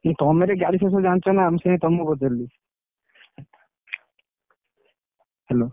ନା, ତମେ ଟିକେ ଗାଡି ସବୁ ବିଷୟରେ ଜାଣିଛ ନା, ମୁଁ ସେଇନାଗି ତଆମକୁ ପଚାରିଲି Hello ।